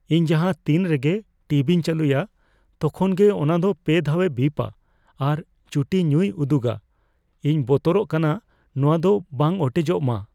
ᱤᱧ ᱡᱟᱦᱟᱸ ᱛᱤᱱ ᱨᱮᱜᱮ ᱴᱤᱵᱤᱧ ᱪᱟᱹᱞᱩᱭᱟ, ᱛᱚᱠᱷᱚᱱ ᱜᱮ ᱚᱱᱟ ᱫᱚ ᱯᱮ ᱫᱷᱟᱣᱮ ᱵᱤᱯᱼᱟ ᱟᱨ ᱪᱩᱴᱤ ᱧᱩᱤ ᱩᱫᱩᱜᱼᱟ ᱾ ᱤᱧ ᱵᱚᱛᱚᱨᱚᱜ ᱠᱟᱱᱟ ᱱᱚᱣᱟ ᱫᱚ ᱵᱟᱝ ᱚᱴᱮᱡᱚᱜ ᱢᱟ ᱾